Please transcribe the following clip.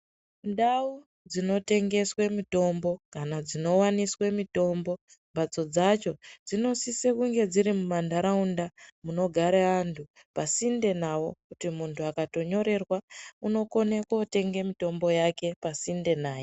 Ndau dzino tengeswe mitombo kana dzino waniswe mitombo mbatso dzacho dzino sise kunge dziri mu mandaraunda muno gara antu pa sinde nawo kuti muntu akato nyorerwa uno kone kotenge mitombo yake pasinde naye.